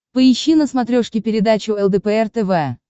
поищи на смотрешке передачу лдпр тв